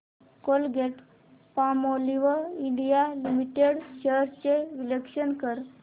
Colgate Palmolive India limited shares चे विश्लेषण कर